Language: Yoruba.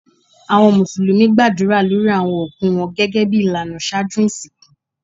Awọn musulumi gbadura lórí awọn okú wọn gẹ́gẹ́bí ilànà ṣájú isínkú.